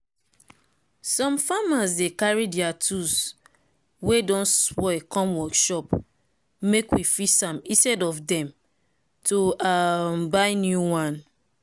some farmers dey carry deir tools wey don spoil come workshop make we fix am instead of dem to um buy new one